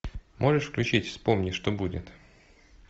можешь включить вспомни что будет